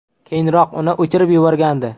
Keyinroq uni o‘chirib yuborgandi.